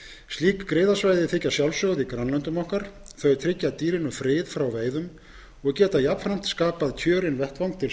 slík griðasvæði þykja sjálfsögð í grannlöndum okkar tryggja dýrinu frið frá veiðum og geta jafnframt skapað kjörinn vettvang til